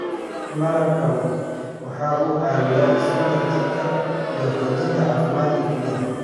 Malabku waxa uu caawiyaa sunta jirka iyo xoojinta caafimaadka kelyaha.